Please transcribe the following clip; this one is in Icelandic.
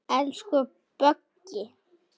Elsku Böggi.